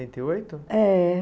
e oito. É.